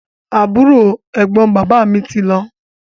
Àbúrò/Ẹ̀gbọ́n bàbá tí lọ